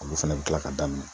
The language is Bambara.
Olu fɛnɛ bi kila ka daminɛ.